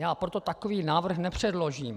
Já proto takový návrh nepředložím.